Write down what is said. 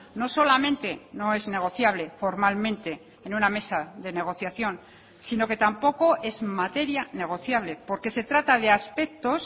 no solamente no es negociable formalmente en una mesa de negociación sino que tampoco es materia negociable porque se trata de aspectos